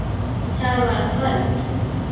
Það var kvöld.